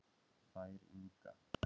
Þær Inga